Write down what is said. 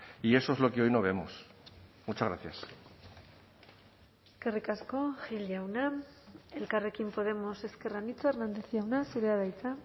y eso es lo que hoy no vemos muchas gracias eskerrik asko gil jauna elkarrekin podemos ezker anitza hernández jauna zurea da hitza